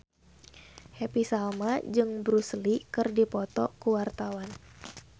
Happy Salma jeung Bruce Lee keur dipoto ku wartawan